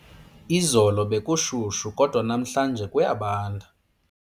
Izolo bekushushu kodwa namhlanje kuyabanda.